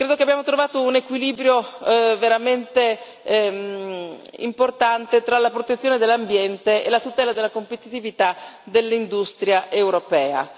Credo che abbiamo trovato un equilibrio veramente importante tra la protezione dell'ambiente e la tutela della competitività dell'industria europea.